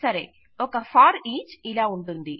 సరే ఒక ఫోరిచ్ ఇలాగ ఉంటుంది